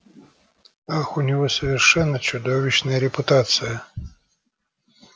ах у него совершенно чудовищная репутация